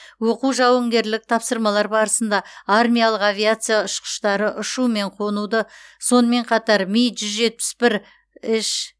оқу жауынгерлік тапсырмалар барысында армиялық авиация ұшқыштары ұшу мен қонуды сонымен қатар ми жүз жетпіс бір ш